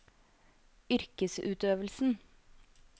yrkesutøvelsen